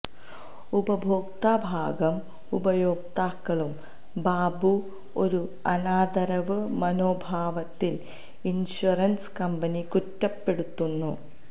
ഉപഭോക്തൃ ഭാഗം ഉപയോക്താക്കളും ബാബു ഒരു അനാദരവ് മനോഭാവത്തിൽ ഇൻഷ്വറൻസ് കമ്പനി കുറ്റപ്പെടുത്തുന്നു